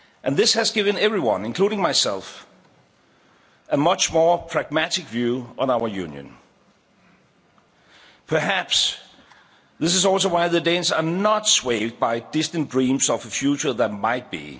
This has given everyone, including myself, a much more pragmatic view on our Union. Perhaps this is also why Danes are not swayed by distant dreams of a future that might be.